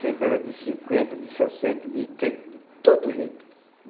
Sempre era de cinquenta, de sessenta, de trinta, de todo jeito.